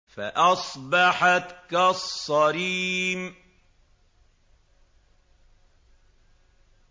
فَأَصْبَحَتْ كَالصَّرِيمِ